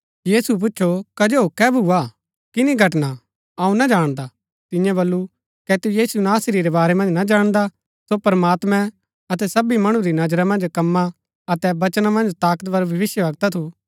यीशुऐ पूच्छु कजो कै भुआ किनी घटना अऊँ ना जाणदा तियें बल्लू कै तू यीशु नासरी रै बारै मन्ज ना जाणदा सो प्रमात्मैं अतै सबी मणु री नजरा मन्ज कमां अतै वचना मन्ज ताकतवर भविष्‍यवक्ता थू